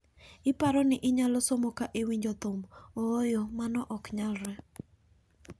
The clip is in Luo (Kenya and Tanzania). Iparo ni inyalo somo ka iwinjo thum, ooyo mano ok nyalre.